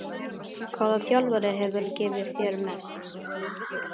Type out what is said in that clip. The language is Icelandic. Hvaða þjálfari hefur gefið þér mest?